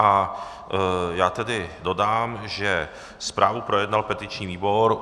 A já tedy dodám, že zprávu projednal petiční výbor.